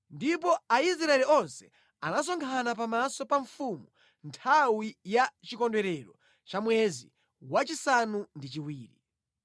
Ndipo Aisraeli onse anasonkhana pamaso pa mfumu nthawi ya chikondwerero cha mwezi wachisanu ndi chiwiri.